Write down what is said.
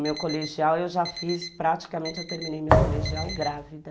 O meu colegial eu já fiz praticamente, eu terminei meu colegial grávida.